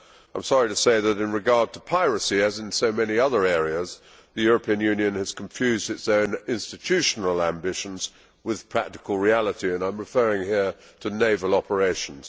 I am sorry to say that in regard to piracy, as in so many other areas, the European Union has confused its own institutional ambitions with practical reality, and I am referring here to naval operations.